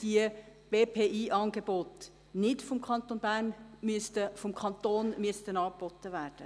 Die Angebote der Berufsvorbereitenden Schuljahre Praxis und Integration (BPI) müssten nicht vom Kanton angeboten werden.